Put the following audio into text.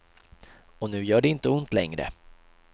Och nu gör det inte ont längre.